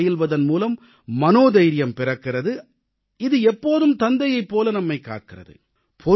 யோகம் பயில்வதன் மூலம் மனோதைரியம் பிறக்கிறது இது எப்போதும் தந்தையைப் போல நம்மைக் காக்கிறது